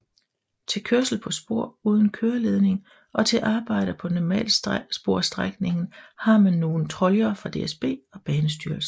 Til kørsel på spor uden køreledninger og til arbejder på normalsporsstrækningen har man nogle troljer fra DSB og Banestyrelsen